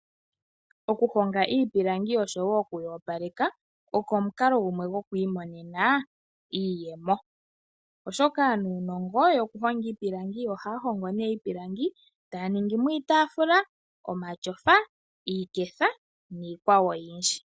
Okuhonga iipilangi oshowo okuyoopaleka oko omukalo gumwe gokwiimonena iiyemo, oshoka aanunongo yokuhonga iipilangi ohaya hongo iipilangi taya ningi mo iitaafula, omatyofa, iiketha niikwawo oyindji.